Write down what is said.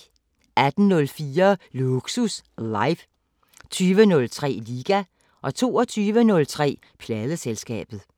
18:04: Lågsus live 20:03: Liga 22:03: Pladeselskabet